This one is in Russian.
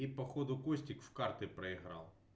и походу костик в карты проиграл